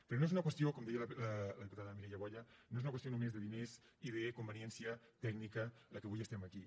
però no és una qüestió com deia la diputada mireia boya només de diners i de conveniència tècnica pel que avui estem aquí